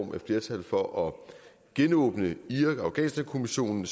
er flertal for at genåbne irak og afghanistankommissionen